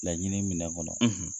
Laɲini minɛn kɔnɔ.